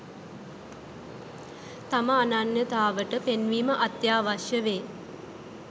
තම අනන්‍යතාවට පෙන්වීම අත්‍යාවශ්‍ය වේ.